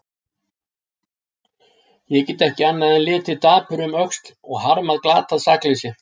Ég get ekki annað en litið dapur um öxl og harmað glatað sakleysi.